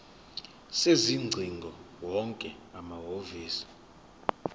sezingcingo wonke amahhovisi